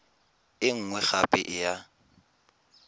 e nngwe gape e ya